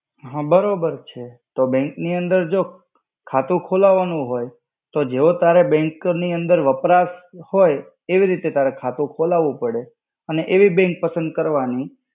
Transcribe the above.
હા બરોબર છે. તો bank ની અંદર જો ખાતું ખોલાવાનું હોય, તો જેવો તારે bank ની અંદર વપરાશ હોય, તેવી રીતે તારે ખાતું ખોલાવવું પડે. અને એવી bank પસંદ કરવાની,